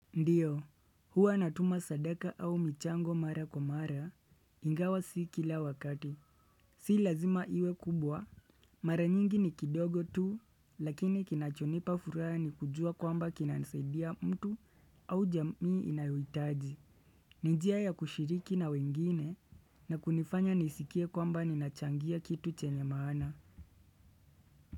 Ndiyo, huwa natuma sadaka au michango mara kwa mara, ingawa si kila wakati. Si lazima iwe kubwa, mara nyingi ni kidogo tu, lakini kinachonipa furaha ni kujua kwamba kinasaidia mtu au jamii inayoitaji. Ni njia ya kushiriki na wengine, na kunifanya nisikie kwamba ninachangia kitu chenye maana.